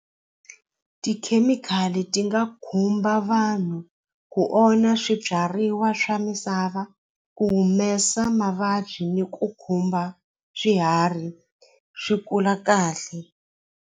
Tikhemikhali ti nga khumba vanhu ku onha swibyariwa swa misava ku humesa mavabyi ni ku khumba swiharhi swi kula kahle.